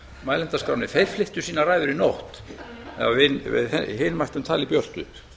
mælendaskránni að þeir flyttu sínar ræður í nótt ef við hin mættum tala í björtu